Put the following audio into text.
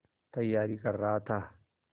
तैयारी कर रहा था